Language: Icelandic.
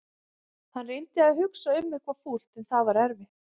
Hann reyndi að hugsa um eitthvað fúlt en það var erfitt.